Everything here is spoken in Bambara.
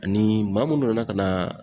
Ani maa mun nana ka na